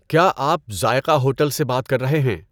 کیا آپ ذائقہ ہوٹل سے بات کر رہے ہیں؟